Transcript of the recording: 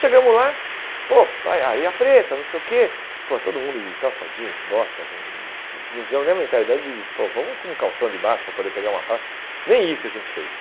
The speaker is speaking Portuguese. Chegamos lá, pô, praia areia preta, não sei o quê, pô todo mundo de calça jeans, bota, hum não tivemos nem a mentalidade de, pô, vamos com calção de baixo para poder pegar uma praia, nem isso a gente fez.